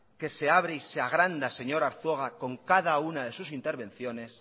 que se abre y se agranda señor arzuaga con cada una de sus intervenciones